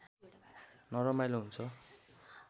नरमाइलो हुन्छ